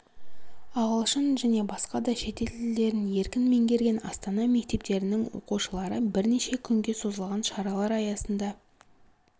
ағылшын және басқа да шетел тілдерін еркін меңгерген астана мектептерінің оқушылары бірнеше күнге созылған шаралар аясында